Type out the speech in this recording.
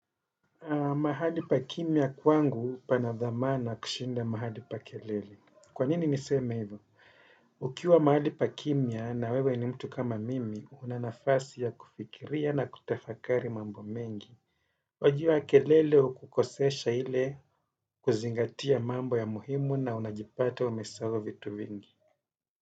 Mahali pa kimya kwangu pana thamana kushinda mahali pa kelele. Kwa nini nisema hivo? Ukiwa mahali pa kimya na wewe ni mtu kama mimi, una nafasi ya kufikiria na kutafakari mambo mengi. Ukuwaji wa kelele hukukosesha ile kuzingatia mambo ya muhimu na unajipata umesahau vitu vingi.